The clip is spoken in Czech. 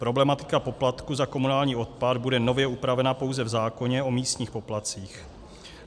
Problematika poplatku za komunální odpad bude nově upravena pouze v zákoně o místních poplatcích.